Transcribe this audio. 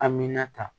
A mi na ta